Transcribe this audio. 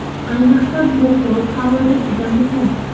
Ayniqsa, bu quruq havoda juda muhim.